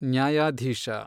ನ್ಯಾಯಾಧೀಶ